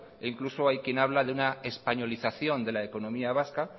e incluso hay quien habla de una españolización de la economía vasca